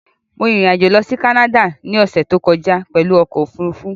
Mo rin ìrìn-àjò lọ sí Canada ní ọ̀ṣẹ̀ tó kọjá pẹ̀lú ọkọ̀ òfurufú